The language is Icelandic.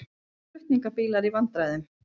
Flutningabílar í vandræðum